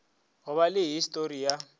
go ba le histori ya